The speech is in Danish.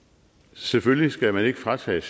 selvfølgelig skal man ikke fratages